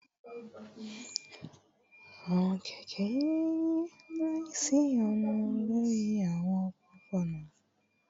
Awọn kẹkẹ yiyi laisiyonu lori awọn opopona